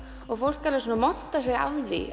og fólk montar sig af því